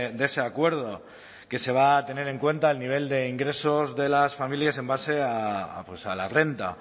de ese acuerdo que se va a tener en cuenta el nivel de ingresos de las familias en base a la renta